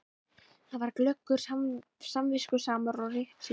Hann var glöggur, samviskusamur og réttsýnn.